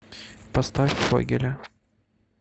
поставь фогеля